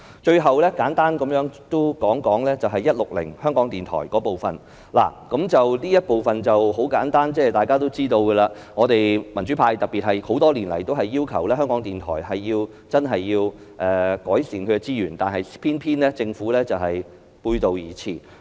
最後，我亦簡單談談"總目 160― 香港電台"，這部分很簡單，是大家都知道的，我們民主派多年來均要求改善香港電台的資源，偏偏政府背道而馳。